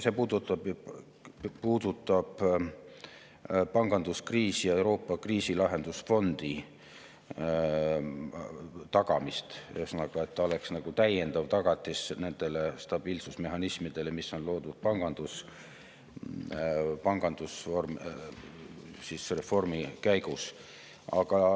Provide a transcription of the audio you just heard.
See puudutab panganduskriisi ja Euroopa kriisilahendusfondi tagamist, ühesõnaga, et ta oleks nagu täiendav tagatis nendele stabiilsusmehhanismidele, mis on loodud pangandusreformi käigus.